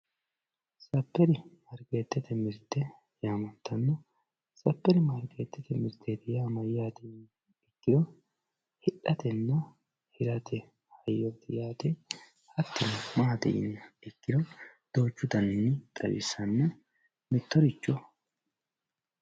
superimaarikeettete yaamantanno superimaarikeettete mirteeti yaa mayyaate yiniha ikkiro hidhatenna hirate hayyooti yaate hattino maati yiniha ikkiro duuchu daninni xawissanna mittoricho.